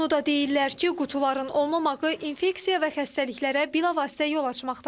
Onu da deyirlər ki, qutuların olmamağı infeksiya və xəstəliklərə bilavasitə yol açmaqdadır.